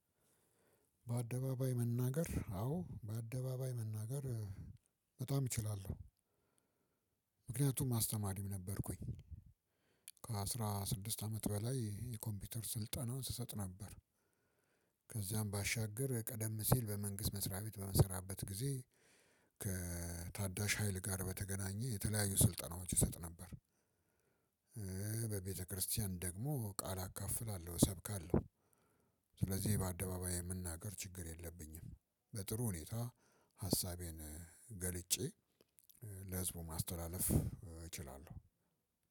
በአደባባይ መናገር አዎ በአደባባይ መናገር በጣም እችላለሁ። ምክንያቱም አስተማሪም ነበርኩኝ ከአስራ ስድስት አመት በላይ የኮምፒውተር ስልጠና ስሰጥ ነበር። ከዚያም ባሻገር ቀደም ሲል በመንግስት መስሪያ ቤት በምሰራበት ጊዜ። ከታዳሽ ሀይል ጋር በተገናኘ የተለያዩ ስልጠናዎች እሰጥ ነበር። በቤተክርስቲያን ደግሞ ቃል አካፍላለሁ እሰብካለሁ። ስለዚህ በአደባባይ የመናገር ችግር የለብኝም። በጥሩ ሁኔታ ሀሳቤን ገልጬ ለህዝቡ ማስተላለፍ እችላለሁ።